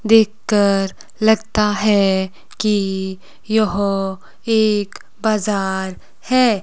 देख कर लगता है कि यह एक बाजार है।